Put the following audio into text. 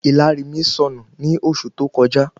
ìlàrí mi sọnù ni oṣù tó kọjá